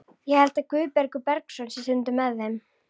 Ég held að Guðbergur Bergsson sé stundum með þeim.